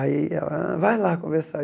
Aí ela, vai lá conversar.